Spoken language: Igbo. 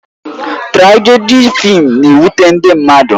Trajedị fịịm na-ewute ndị mmadụ